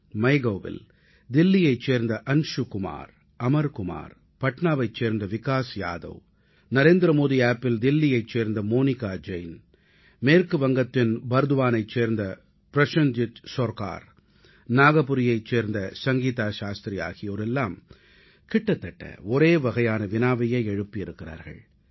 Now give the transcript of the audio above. MyGovஇல் தில்லியைச் சேர்ந்த அன்சு குமார் அமர் குமார் பட்னாவைச் சேர்ந்த விகாஸ் யாதவ் நரேந்திரமோடி செயலியில் NarendraModiApp தில்லியைச் சேர்ந்த மோனிகா ஜெயின் மேற்கு வங்கத்தின் பர்த்வானைச் சேர்ந்த பிரசேன்ஜித் சர்கார் நாக்பூரைச் சேர்ந்த சங்கீதா சாஸ்த்ரி போன்றோர் எல்லாம் கிட்டத்தட்ட ஒரே வகையான வினாவையே எழுப்பி இருக்கிறார்கள்